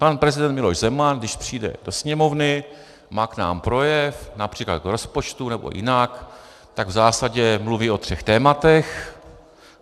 Pan prezident Miloš Zeman, když přijde do Sněmovny, má k nám projev, například k rozpočtu, nebo jinak, tak v zásadě mluví o třech tématech.